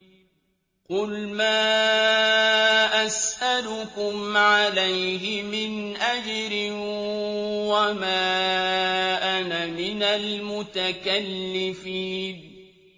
قُلْ مَا أَسْأَلُكُمْ عَلَيْهِ مِنْ أَجْرٍ وَمَا أَنَا مِنَ الْمُتَكَلِّفِينَ